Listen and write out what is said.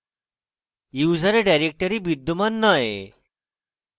user directory বিদ্যমান নয়